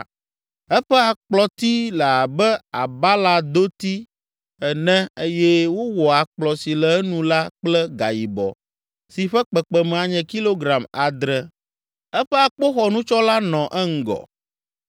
Eƒe akplɔti le abe abaladoti ene eye wowɔ akplɔ si le enu la kple gayibɔ si ƒe kpekpeme anye kilogram adre. Eƒe akpoxɔnutsɔla nɔ eŋgɔ.